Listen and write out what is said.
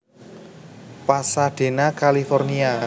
Pasadena California